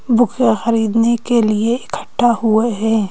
Book ए खरीदने के लिए इकट्ठा हुए हैं।